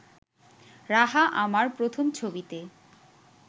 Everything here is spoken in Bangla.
রাহা আমার প্রথম ছবিতে